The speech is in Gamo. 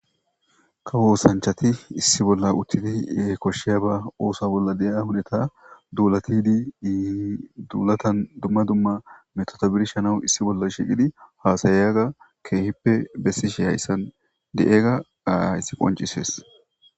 Kawo osanchati issi bolla uttidi e koshsheya ba oosa bolla de'a hudata duulatidi iii duulata dumma dumma metoto birshanawu issi bolla shiqidi haasayyaga keehippe bessishi hayssan de'ega ayssi qoncisees